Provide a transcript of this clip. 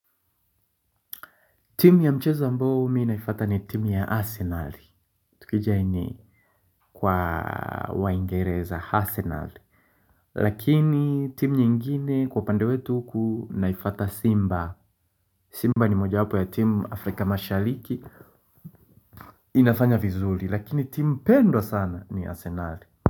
Timu ya mchezo ambao mimi naifata ni timu ya Arsenal, tukijaini kwa waingereza Arsenal Lakini timu nyingine kwa pande wetu huku naifata Simba, Simba ni moja wapo ya timu Afrika Mashaliki inafanya vizuri lakini timu pendwa sana ni Arsenal.